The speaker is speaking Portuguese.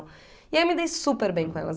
E aí eu me dei super bem com elas.